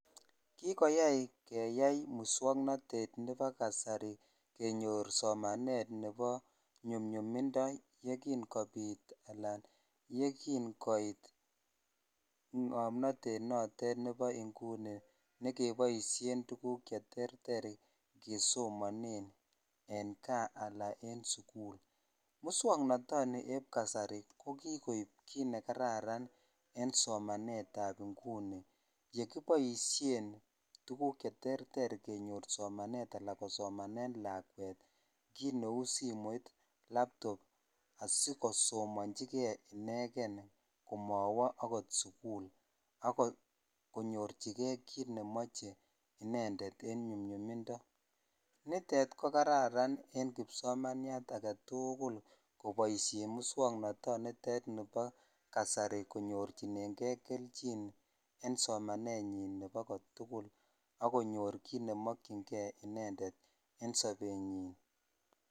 Kikoyai keyai muswoknatet nebo kasari kenyor somanet nebo nyumchumindo ye kin kopit ala yekin koit ngomnatet notet nebo inguni ne keboisien tuguk cheterter kesomanen en kaa anan en sugul. Musyoknotoni eb kasari ko kokoip kit nekaran en somanetab inguni yekiboisien tuguk cheterter kenyor somanet anan kosomanen lakwet kit neu simoit, laptop asikosomanjige inegen komawa agot sugul agonyorchige kit nemoche inendet en chumyumindo. Nitet ko kararan en kipsomaniat agetugul koboisien muswoknatonitet nebo kasari konyorchinenge keljin en somanenyin nebo kotugul ak konyor kit nemakyinge inendet en sobenyin.